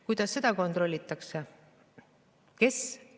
Kuidas seda kontrollitakse?